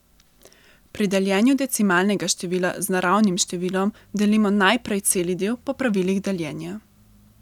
Pri deljenju decimalnega števila z naravnim številom delimo najprej celi del po pravilih deljenja.